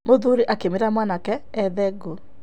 Mũthuri akĩmwĩra mwanake ethe ngũ.